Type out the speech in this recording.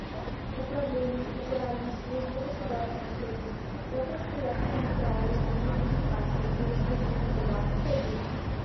управление федеральной службы государственной статистики по красноярскому краю республике хакасия и республике тыва отзывы